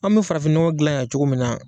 An mɛ farafinɲɔgɔ gilan yan cogo min na.